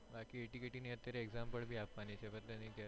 બાકી તો ATKT ની અત્યારે exam પણ ભી આપવાની છે